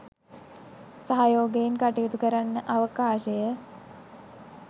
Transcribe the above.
සහයෝගයෙන් කටයුතු කරන්න අවකාශය